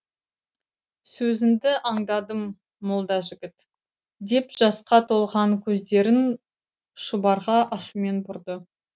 сөзінді андадым молдажігіт деп жасқа толған көздерін шұбарға ашумен бұрды